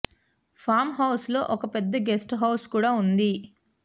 form house లో ఒక పెద్ద గెస్ట్ హౌస్ కూడా ఉంది